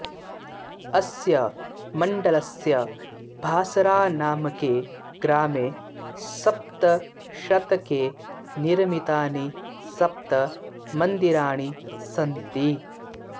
अस्य मण्डलस्य भासरानामके ग्रामे सप्तमशतके निर्मितानि सप्त मन्दिराणि सन्ति